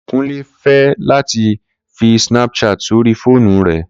Kunle fẹ lati fi Snapchat sori foonu rẹ.